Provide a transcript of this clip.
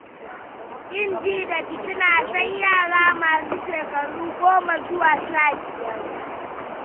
Ƙin ji da fitina sai yara masu shekaru goma zuwa sha biyar.